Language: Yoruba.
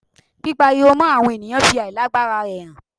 Pípariwo mọ́ àwọn ènìyàn fi àìlágbara rẹ hàn.